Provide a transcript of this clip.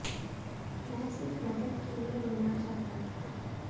मैं सिर्फ मदद के लिए रोना चाहता था